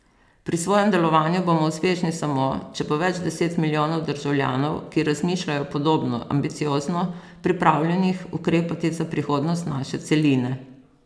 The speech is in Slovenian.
Pri svojem delovanju bomo uspešni samo, če bo več deset milijonov državljanov, ki razmišljajo podobno ambiciozno, pripravljenih ukrepati za prihodnost naše celine.